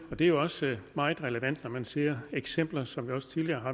og det er også meget relevant når man ser de eksempler som vi også tidligere